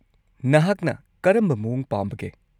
-ꯅꯍꯥꯛꯅ ꯀꯔꯝꯕ ꯃꯑꯣꯡ ꯄꯥꯝꯕꯒꯦ?